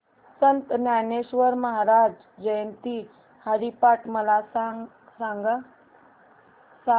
संत ज्ञानेश्वर महाराज जयंती हरिपाठ मला सांग